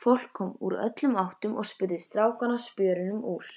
Fólk kom úr öllum áttum og spurði strákana spjörunum úr.